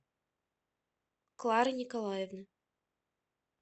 клары николаевны